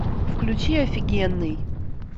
включи офигенный